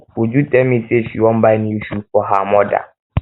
uju tell me say she wan buy new shoe for her um mother